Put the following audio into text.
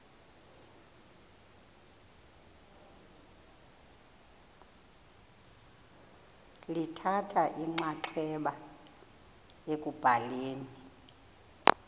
lithatha inxaxheba ekubhaleni